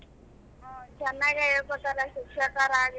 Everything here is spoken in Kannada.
ಹ್ಮ ಚೆನ್ನಗೆ ಹೇಳಕೊಟ್ಟರೆ ಶಿಕ್ಷಕರ ಆಗ್ಲಿ